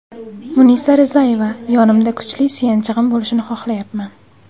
Munisa Rizayeva: Yonimda kuchli suyanchig‘im bo‘lishini xohlayapman.